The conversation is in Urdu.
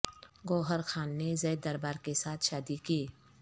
گوہر خان نے زید دربار کے ساتھ شادی کی